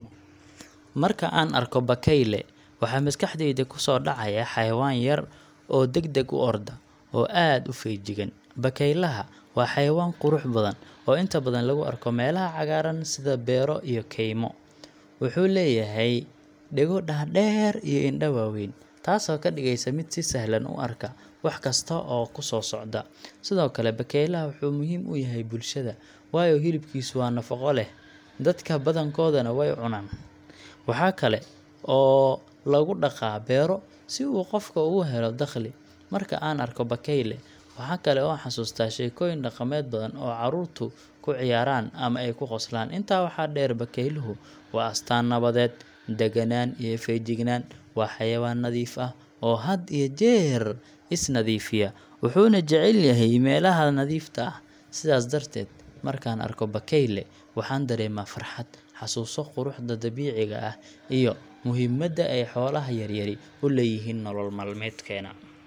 Marka aan arko bakayle, waxa maskaxdayda ku soo dhacaya xayawaan yar oo degdeg u orda, oo aad u feejigan. Bakaylaha waa xayawaan qurux badan oo inta badan lagu arko meelaha cagaaran sida beero iyo kaymo. Wuxuu leeyahay dhago dhaadheer iyo indho waaweyn, taasoo ka dhigaysa mid si sahlan u arka wax kasta oo ku soo socda. Sidoo kale, bakaylaha wuxuu muhiim u yahay bulshada, waayo hilibkiisu waa nafaqo leh, dadka badankoodna way cunaan. Waxa kale oo lagu dhaqaa beero si uu qofku uga helo dakhli. Marka aan arko bakayle, waxa kale oo aan xasuustaa sheekooyin dhaqameed badan oo caruurtu ku ciyaaraan ama ay ku qoslaan. Intaa waxaa dheer, bakayluhu waa astaan nabadeed, daganaan iyo feejignaan. Waa xayawaan nadiif ah oo had iyo jeer is nadiifiya, wuxuuna jecel yahay meelaha nadiifta ah. Sidaas darteed, markaan arko bakayle, waxaan dareemaa farxad, xasuuso quruxda dabiiciga ah, iyo muhiimadda ay xoolaha yaryari u leeyihiin nolol maalmeedkeena.